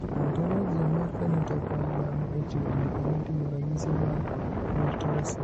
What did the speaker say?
Ontologia mar phenotype mag dhano ochiwo andika moting`o ranyisi mag Muir Torre syndrome.